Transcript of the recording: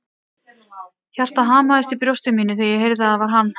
Hjartað hamaðist í brjósti mínu þegar ég heyrði að það var hann.